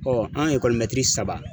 an saba.